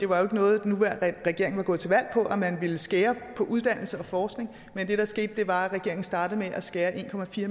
var noget den nuværende regering var gået til valg på at man ville skære på uddannelse og forskning men det der skete var at regeringen startede med at skære en